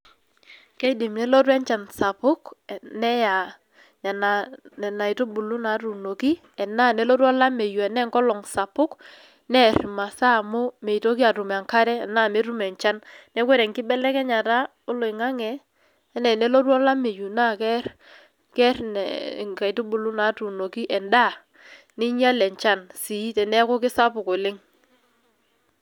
Keidim nelotu enchan sapuk neya nena aitubulu natuunoki, enaa nelotu olameyu ene nkolong' sapuk, neer imasaa amu meitoki atum enkare enaa metum enchan. Neku ore enkibelekenyata oloing'ang'e, ene enelotu olameyu nakere ker inkaitubulu natuunoki endaa, ninyal enchan si teneeku sapuk oleng.